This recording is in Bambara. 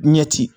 Ɲɛti